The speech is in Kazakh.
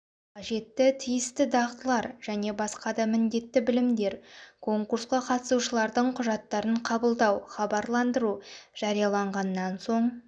қажетті тиісті дағдылар және басқа да міндетті білімдер конкурсқа қатысушылардың құжаттарын қабылдау хабарландыру жарияланғаннан соң